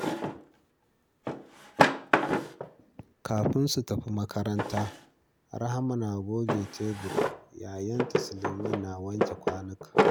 Kafin su tafi makaranta, Rahma na goge tebur, yayanta Suleiman na wanke kwanuka.